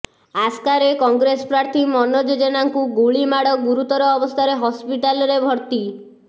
ଆସ୍କାରେ କଂଗ୍ରେସ ପ୍ରାର୍ଥୀ ମନୋଜ ଜେନାଙ୍କୁ ଗୁଳିମାଡ ଗୁରୁତର ଅବସ୍ଥାରେ ହସ୍ପିଟାଲରେ ଭର୍ତ୍ତି